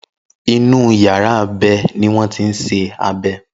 Inú yàrá abẹ ni wọ́n ti ń ṣe abẹ.